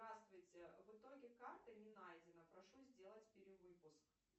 здравствуйте в итоге карта не найдена прошу сделать перевыпуск